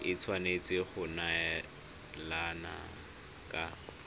e tshwanetse go neelana ka